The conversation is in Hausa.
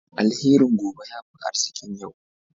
Alherin gobe ya fi arzikin yau.